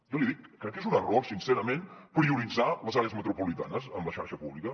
jo li dic crec que és un error sincerament prioritzar les àrees metropolitanes amb la xarxa pública